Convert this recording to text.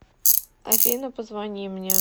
афина позвони мне